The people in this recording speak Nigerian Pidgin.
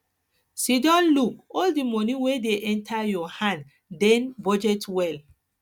sidon look all di money wey dey enter your hand then budget well